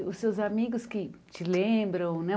E os seus amigos que te lembram, né?